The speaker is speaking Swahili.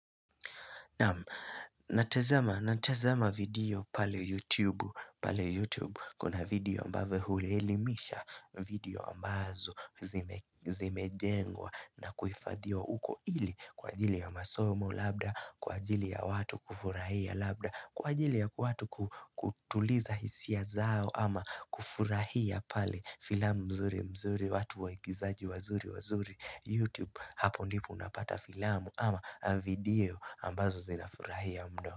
Natazama video pale YouTube. Kuna video ambavyo huli elimisha video ambazo zimejengwa na kuifadhiwa uko ili kwa ajili ya masomo labda, kwa ajili ya watu kufurahia labda, kwa ajili ya watu kutuliza hisia zao ama kufurahia pale filamu mzuri mzuri watu waikizaji wazuri wazuri YouTube. Hapo ndipo unapata filamu ama video ambazo zina furahia mno.